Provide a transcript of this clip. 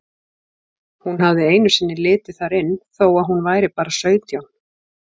Hún hafði einu sinni litið þar inn þó að hún væri bara sautján.